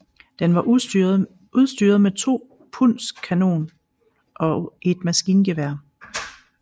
Den var udstyret med en 2 pundskanon og et maskingevær